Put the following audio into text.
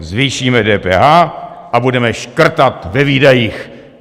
Zvýšíme DPH a budeme škrtat ve výdajích.